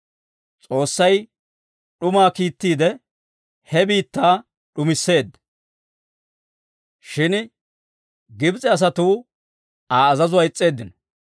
S'oossay d'umaa kiittiide, he biittaa d'umisseedda; shin Gibs'e asatuu Aa azazuwaa is's'eeddino.